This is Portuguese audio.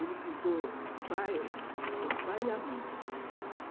Ele ficou o pai e a mãe.